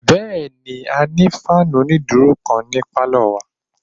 Bẹ́ẹ̀ni, a ní fáànù onídúró kan ní pálọ̀ wa